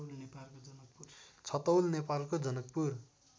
छतौल नेपालको जनकपुर